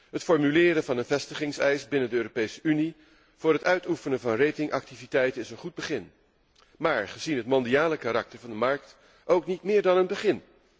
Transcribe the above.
Het formuleren van een vestigingseis binnen de Europese Unie voor het uitoefenen van ratingactiviteiten is een goed begin, maar gezien het mondiale karakter van de markt ook niet meer dan een begin.